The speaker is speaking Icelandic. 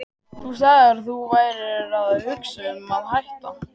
Þú sagðir að þú værir að hugsa um að hætta.